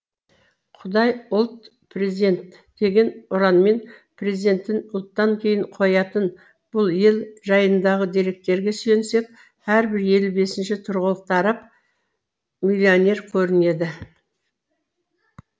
құдай ұлт президент деген ұранмен президентін ұлттан кейін қоятын бұл ел жайындағы деректерге сүйенсек әрбір елу бесінші тұрғылықты араб миллионер көрінеді